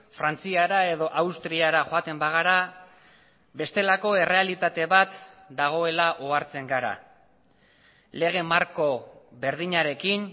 frantziara edo austriara joaten bagara bestelako errealitate bat dagoela ohartzen gara lege marko berdinarekin